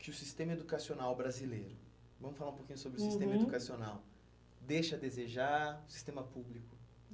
que o sistema educacional brasileiro, vamos falar um pouquinho, uhum, sobre o sistema educacional, deixa a desejar o sistema público?